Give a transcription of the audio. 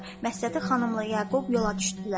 Məşədi xanımla Yaqub yola düşdülər.